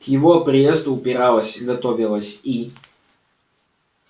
к его приезду убиралась готовилась и